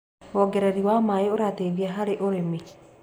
Wongererĩ wa maĩ ũrateĩthĩa harĩ ũrĩmĩ